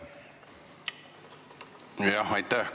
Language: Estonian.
Aitäh!